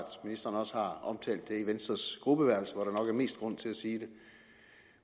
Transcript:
ministeren også har omtalt det i venstres gruppeværelse hvor der nok er mest grund til at sige det